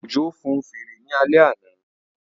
Òjó fun fèrè ní alẹ́ àná